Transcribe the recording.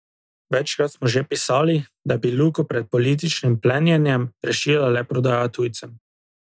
Večkrat smo že pisali, da bi Luko pred političnim plenjenjem rešila le prodaja tujcem.